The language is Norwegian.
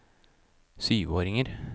syvåringer